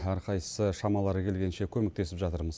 әрқайсысы шамалары келгенше көмектесіп жатырмыз